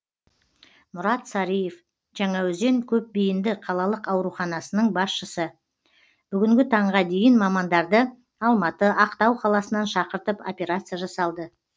мұрат сарыев жаңаөзен көпбейінді қалалық ауруханасының басшысы бүгінгі таңға дейін мамандарды алматы ақтау қаласынан шақыртып операция жасалды